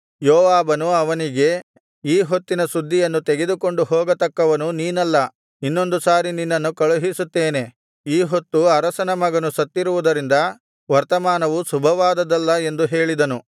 ಯೋವಾಬನು ಅವನಿಗೆ ಈ ಹೊತ್ತಿನ ಸುದ್ದಿಯನ್ನು ತೆಗೆದುಕೊಂಡು ಹೋಗತಕ್ಕವನು ನೀನಲ್ಲ ಇನ್ನೊಂದು ಸಾರಿ ನಿನ್ನನ್ನು ಕಳುಹಿಸುತ್ತೇನೆ ಈ ಹೊತ್ತು ಅರಸನ ಮಗನು ಸತ್ತಿರುವುದರಿಂದ ವರ್ತಮಾನವು ಶುಭವಾದುದಲ್ಲ ಎಂದು ಹೇಳಿದನು